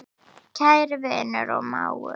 Kæri vinur og mágur.